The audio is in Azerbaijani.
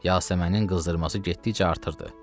Yasəmənin qızdırması getdikcə artırdı.